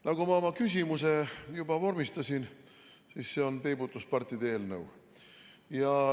Nagu ma juba oma küsimuse vormistasin, see on peibutuspartide eelnõu.